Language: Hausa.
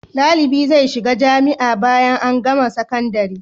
Dalibi zai shiga jamia bayan an gama sakandari